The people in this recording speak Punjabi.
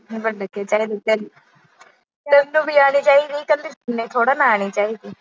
ਤੇ ਚੱਲ-ਚੱਲ। ਤੈਨੂੰ ਵੀ ਐਵੇਂ ਕਹਿੰਦੀ ਮੈਂ ਨੀ ਝੱਲਦੀ।